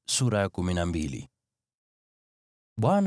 Bwana akamwambia Mose,